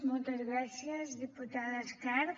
moltes gràcies diputada escarp